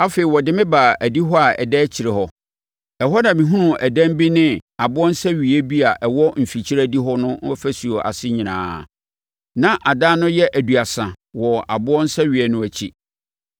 Afei ɔde me baa adihɔ a ɛda akyire hɔ. Ɛhɔ na mehunuu adan bi ne aboɔ nsɛweeɛ bi a ɛwɔ mfikyire adihɔ no ɔfasuo ase nyinaa; na adan no yɛ aduasa wɔ aboɔ nsɛweeɛ no akyi.